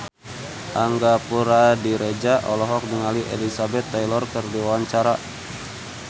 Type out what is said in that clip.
Angga Puradiredja olohok ningali Elizabeth Taylor keur diwawancara